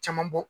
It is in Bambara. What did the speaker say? Caman bɔ